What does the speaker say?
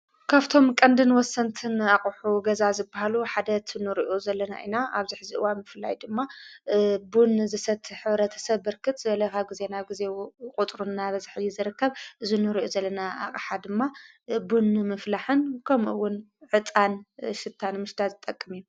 ካብቶም ቀንድን ወሰንትን ኣቕሑ ገዛ ዝበሃሉ ሓደት ኑርኡ ዘለና ኢና ኣብዚ ሐዚ እዋን ምፍላይ ድማ ቡን ዘሰት ሕብረተሰብ ብርክት ዝበለ ጊዜና ጊዜ ቝጥሩ ና በዘሕ ዚ ዘርከብ እዝኑርኡ ዘለና ኣቕሓ ድማ ቡን ምፍላሕን ከምውን ዕጣን ስታን ምሽዳ ዝጠቅም እዩ።